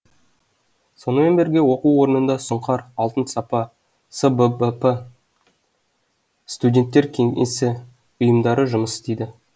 сонымен бірге оқу орнында сұңқар алтын сапа сббп студенттер кеңесі ұйымдары жұмыс істейді